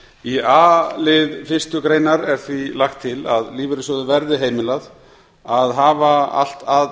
í a lið fyrstu grein er því lagt til að lífeyrissjóði verði heimilað að hafa allt að